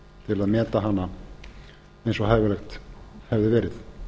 til að meta hana eins og hæfilegt hefði verið